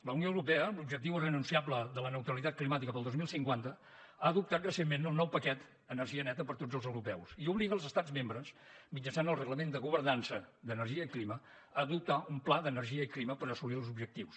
la unió europea amb l’objectiu irrenunciable de la neutralitat climàtica per al dos mil cinquanta ha adoptat recentment el nou paquet energia neta per a tots els europeus i obliga els estats membres mitjançant el reglament de governança d’energia i clima a adoptar un pla d’energia i clima per assolir els objectius